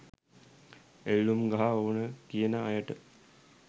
එල්ලුම් ගහ ඕන කියන අයට